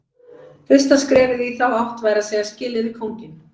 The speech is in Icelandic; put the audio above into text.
Fyrsta skrefið í þá átt væri að segja skilið við kónginn.